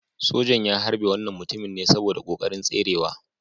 Sojan ya harbe wannan mutumin ne saboda kokarin tserewa.